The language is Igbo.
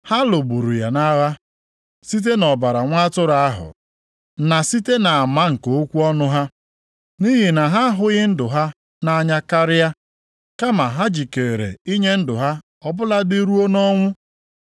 Ha lụgburu ya nʼagha site nʼọbara Nwa atụrụ ahụ na site nʼama nke okwu ọnụ ha, nʼihi na ha ahụghị ndụ ha nʼanya karịa, kama ha jikere inye ndụ ha ọbụladị ruo nʼọnwụ.